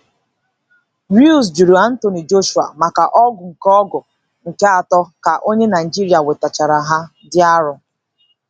Ruiz jụrụ Anthony Joshua maka ọgụ nke ọgụ nke atọ ka onye Naijiria nwetachara aha dị arọ.